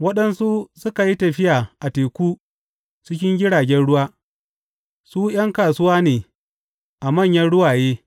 Waɗansu suka yi tafiya a teku cikin jiragen ruwa; su ’yan kasuwa ne a manyan ruwaye.